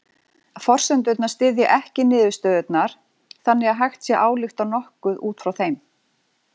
Forsendurnar styðja ekki niðurstöðurnar þannig að hægt sé að álykta nokkuð út frá þeim.